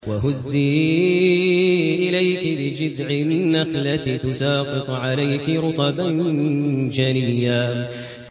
وَهُزِّي إِلَيْكِ بِجِذْعِ النَّخْلَةِ تُسَاقِطْ عَلَيْكِ رُطَبًا جَنِيًّا